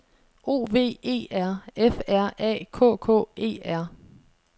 O V E R F R A K K E R